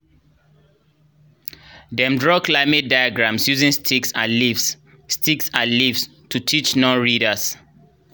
dem draw climate diagrams using sticks and leaves sticks and leaves to teach non-readers